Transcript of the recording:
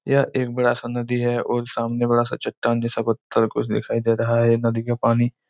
यह एक बड़ा सा नदी हैं और सामने बड़ा सा चट्टान जैसा पत्थर कुछ दिखाई दे रहा हैं नदी का पानी--